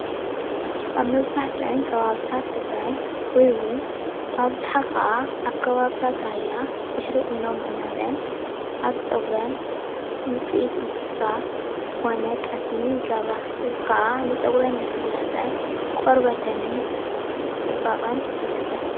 ኣብ መብዛሕትአን ከባብታት ትግራይ ወይውን ብኣብዝሓ ከዓ ኣብ ከባቢታት ራያ ድሕሪ ቑኖ ምቑናነን ኣብ ፀጉረን ውጽኢት እንስሳ ዝኾነ ጠስሚ ይገብራ፣ እዚ ከኣ ንፀጉረን ልስላሰን ቆርበተንን ጽባቐን ይሕግዘን።